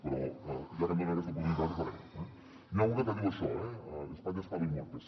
però ja que em donen aquesta oportunitat ho farem eh n’hi ha una que diu això eh espanya es paro y muerte